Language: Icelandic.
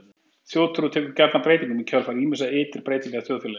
Þjóðtrú tekur gjarnan breytingum í kjölfar ýmissa ytri breytinga í þjóðfélaginu.